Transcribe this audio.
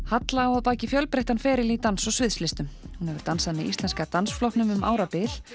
halla á að baki fjölbreyttan feril í dans og sviðslistum hún hefur dansað með Íslenska dansflokknum um árabil